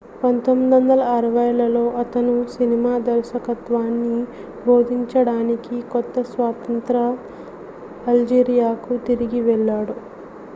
1960లలో అతను సినిమా దర్శకత్వాన్ని బోధించడానికి కొత్త-స్వతంత్ర అల్జీరియాకు తిరిగి వెళ్లాడు